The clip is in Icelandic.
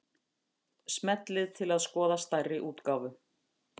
Smellið til að skoða stærri útgáfu